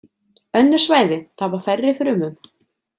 Önnur svæði tapa færri frumum.